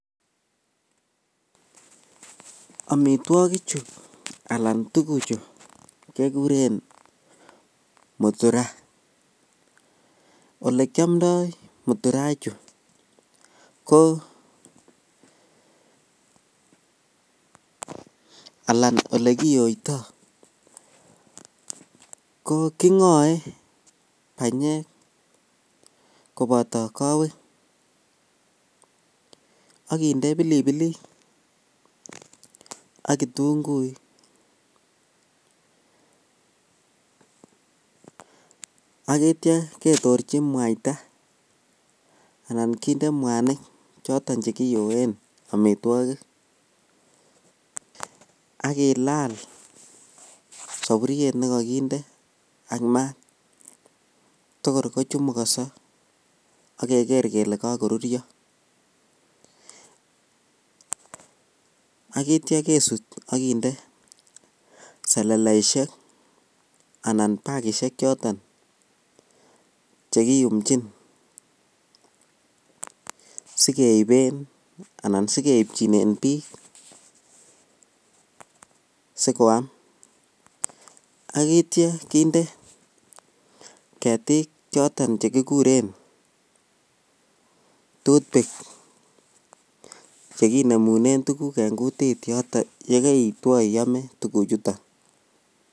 Amitwokichu alaan tukuchu kekuren muturaa, olekiomndoi muturaa ichuu ko alaan olekiyoito ko kingoe banyek koboto kowek ak kinde pilipilik ak kitung'uik ak kityo ketorchi mwaita anan kinde mwanik choton chekiyoen amitwokik ak kilal soburiet nekokinde ak maat tokor kochumukoso okeker kelee kokorurio, akityo kesut ak kindee seleleishek anan bakishek choton chekiyumchin sikeiben anan sikeibchinen biik sikoam, akityo kinde ketik choton chekikuren tooth pick chekinemunen tukuk en kutit yoton yekeitwo iomee tukuchuton.